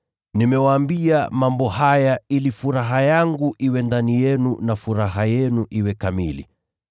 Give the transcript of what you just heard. Nimewaambia mambo haya ili furaha yangu iwe ndani yenu na furaha yenu iwe kamili.